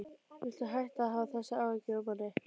Viltu hætta að hafa þessar áhyggjur af manni!